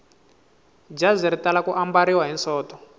jazi ri tala ku ambariwa hi sonto